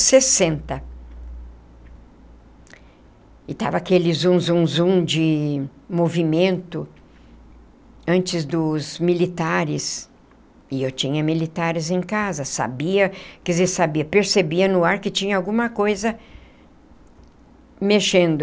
Sessenta e estava aquele zum, zum, zum de movimento, antes dos militares, e eu tinha militares em casa, sabia, quer dizer, sabia, percebia no ar que tinha alguma coisa mexendo.